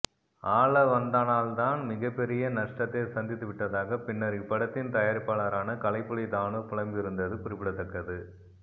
ஆளவந்தானால் தான் மிகப் பெரிய நஷ்டத்தை சந்தித்து விட்டதாக பின்னர் இப்படத்தின் தயாரிப்பாளரான கலைப்புலி தாணு புலம்பியிருந்தது குறிப்பிடத்தக்கது